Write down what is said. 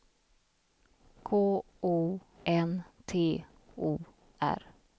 K O N T O R